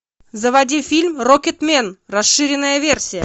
заводи фильм рокетмен расширенная версия